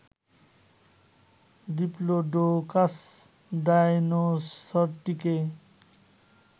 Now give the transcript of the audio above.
Diplodocus ডায়নোসরটিকে